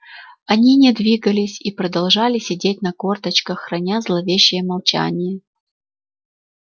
они не двигались и продолжали сидеть на корточках храня зловещее молчание